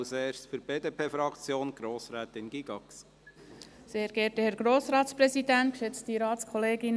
Zuerst zu Grossrätin Gygax für die BDP-Fraktion.